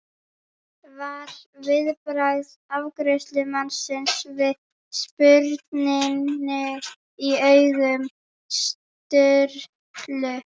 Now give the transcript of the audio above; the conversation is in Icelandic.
var viðbragð afgreiðslumannsins við spurninni í augum Sturlu.